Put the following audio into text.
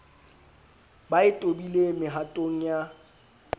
ba e tobileng mehatong ya